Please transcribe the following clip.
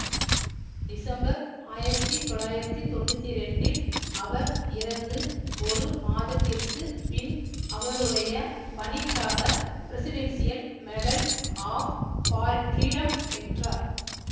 December ஆயிரத்தி தொள்ளாயிரத்தி தொன்னூத்தி இரண்டில் அவர் இறந்து ஒரு மாதத்திற்குப் பின் அவருடைய பணிக்காக பிரசிடென்ஷியல் மெடல் ஆஃப் ஃபார்ஃப்ரீடம் பெற்றார்